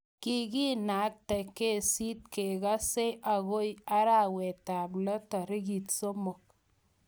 Kikinaktae kesiit kekasei akoi arawetab lo tarik somok.